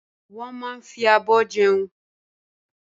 Wọ́n máa ń fi abọ́ jẹun.